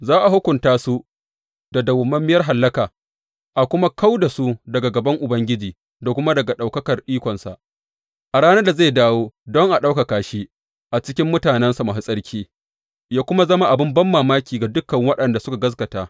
Za a hukunta su da madawwamiyar hallaka a kuma kau da su daga gaban Ubangiji da kuma daga ɗaukakar ikonsa a ranar da zai dawo don a ɗaukaka shi a cikin mutanensa masu tsarki, yă kuma zama abin banmamaki ga dukan waɗanda suka gaskata.